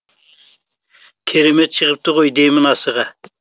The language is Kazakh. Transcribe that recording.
керемет шығыпты ғой деймін асыға